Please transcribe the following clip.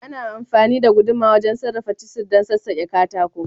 Ana amfani da guduma wajen sarrafa cisir dan sassake katako.